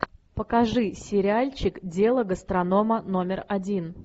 покажи сериальчик дело гастронома номер один